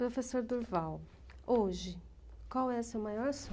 Professor Durval, hoje, qual é o seu maior